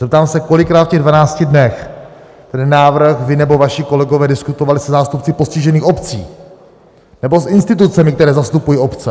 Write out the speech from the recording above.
Zeptám se, kolikrát v těch 12 dnech ten návrh vy nebo vaši kolegové diskutovali se zástupci postižených obcí nebo s institucemi, které zastupují obce?